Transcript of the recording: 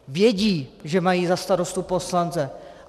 Vědí, že mají za starostu poslance.